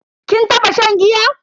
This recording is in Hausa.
Kin taba shan giya?